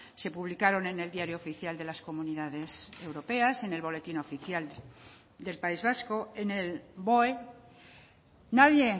se publicaron en el diario oficial de las comunidades europeas en el boletín oficial del país vasco en el boe nadie